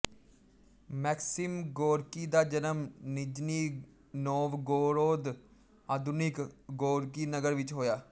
maxim Gorky ਦਾ ਜਨਮ Nizhny Novgorod ਆਧੁਨਿਕ ਗੋਰਕੀ ਨਗਰ ਵਿੱਚ ਹੋਇਆ